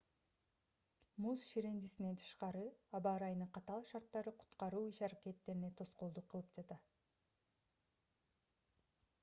муз ширендисинен тышкары аба ырайынын катаал шарттары куткаруу иш-аракеттерине тоскоолдук кылып жатты